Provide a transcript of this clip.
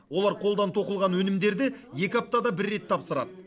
олар қолдан тоқылған өнімдерді екі аптада бір рет тапсырады